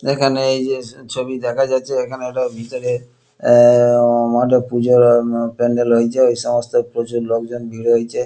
এখানে এইযে ছবি দেখা যাচ্ছে এখানে একটা ভেতরে এ- মণ্ডপ পুজোর উম- প্যান্ডেল হয়েছে ঐ সমস্ত প্রচুর লোকজন ভিড় হয়েছে।